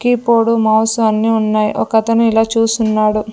Keyboard mouse అన్ని ఉన్నాయి ఒక అతను ఇలా చూస్తున్నాడు.